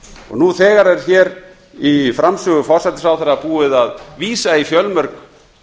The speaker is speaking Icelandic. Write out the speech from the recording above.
nú þegar er hér í framsögu forsætisráðherra búið að vísa í fjölmörg